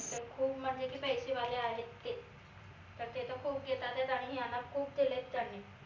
खूप म्हनजे की पैसे वाले आहेत ते तर ते तर खूप घेतातायत आणि यांना खूप डेलयत त्यांनी